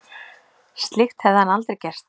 Slíkt hefði hann aldrei gert